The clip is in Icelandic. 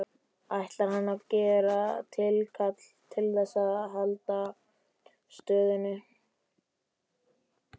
Ætlar hann að gera tilkall til þess að halda stöðunni?